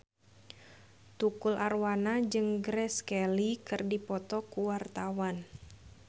Tukul Arwana jeung Grace Kelly keur dipoto ku wartawan